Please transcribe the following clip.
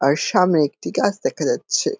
আর সামনে একটি গাছ দেখা যাচ্ছে।